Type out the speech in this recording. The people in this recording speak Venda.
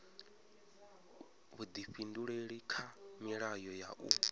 vhuifhinduleli kha milayo ya u